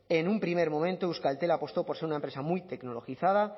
en un primer momento euskaltel apostó por ser una empresa muy tecnologizada